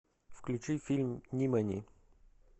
включи фильм нимани